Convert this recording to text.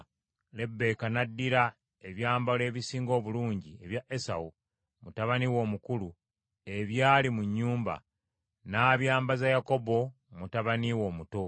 Lebbeeka n’addira ebyambalo ebisinga obulungi ebya Esawu, mutabani we omukulu, ebyali mu nnyumba; n’abyambaza Yakobo mutabani we omuto,